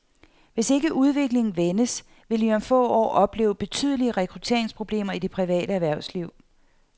Hvis ikke udviklingen vendes, vil vi om få år opleve betydelige rekrutteringsproblemer i det private erhvervsliv.